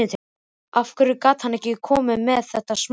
Af hverju gat hann ekki komið með þetta smám saman?